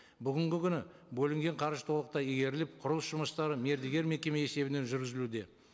бүгінгі күні бөлінген қаржы толықтай игеріліп құрылыс жұмыстары мердігер мекеме есебінен жүргізілуде